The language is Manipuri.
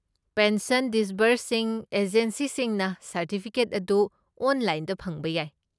ꯄꯦꯟꯁꯟ ꯗꯤꯁꯕꯔꯁꯤꯡ ꯑꯦꯖꯦꯟꯁꯤꯁꯤꯡꯅ ꯁꯔꯇꯤꯐꯤꯀꯦꯠ ꯑꯗꯨ ꯑꯣꯟꯂꯥꯏꯟꯗ ꯐꯪꯕ ꯌꯥꯏ꯫